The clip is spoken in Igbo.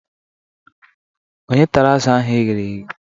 Ònye tara azụ̀ ahu eghere eghe?